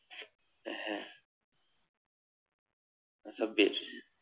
হ্যা